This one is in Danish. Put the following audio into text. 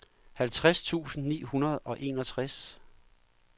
halvtreds tusind ni hundrede og enogtres